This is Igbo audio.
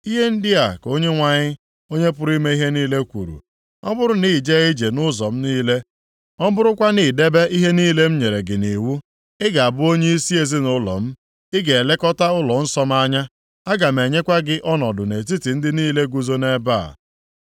“Ihe ndị a ka Onyenwe anyị, Onye pụrụ ime ihe niile kwuru, ‘Ọ bụrụ na i jee ije nʼụzọ m niile, ọ bụrụkwa na i debe ihe niile m nyere gị nʼiwu, ị ga-abụ onyeisi ezinaụlọ m, ị ga-elekọta ụlọnsọ m anya, aga m enyekwa gị ọnọdụ nʼetiti ndị a niile guzo nʼebe a.